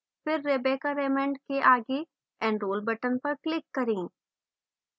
फिर rebecca raymond के आगे enrol button पर click करें